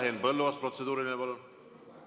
Henn Põlluaas, protseduuriline, palun!